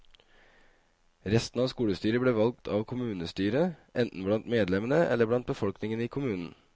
Resten av skolestyret ble valgt av kommunestyret, enten blant medlemmene, eller blant befolkningen i kommunen.